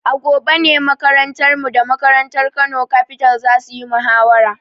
A gobe ne makarantarmu da makarantar Kano Capital za su yi muhawara.